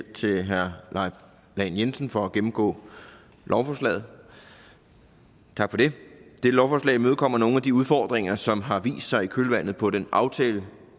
til herre leif lahn jensen for at gennemgå lovforslaget dette lovforslag imødekommer nogle af de udfordringer som har vist sig i kølvandet på den aftale